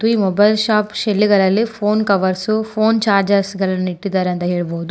ಈ mobile shop ಶೇಲ್ಲುಗಳಲ್ಲಿ phone covers phone chargers ಗಳನ್ನು ಇಟ್ಟಿದ್ದಾರೆ ಅಂತ ಹೇಳಬಹುದು.